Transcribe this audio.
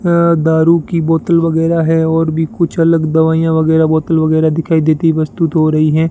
अ दारू की बोतल वगैरा है और भी कुछ अलग दवाइयां वगैरा बोतल वगैरा दिखाई देती वस्तुत हो रही हैं।